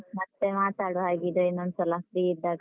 ಮತ್ತೆ ಮಾತಾಡುವ ಹಾಗಿದ್ರೆ ಇನ್ನೊಂದ್ಸಲ, free ಇದ್ದಾಗ.